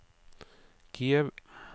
Kiev